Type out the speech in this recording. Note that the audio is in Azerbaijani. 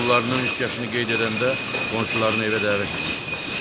Oğullarından üç yaşını qeyd edəndə qonşularını evə dəvət etmişdilər.